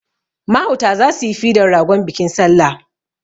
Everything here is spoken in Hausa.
Mahauta za su yi fidan ragon bikin salla.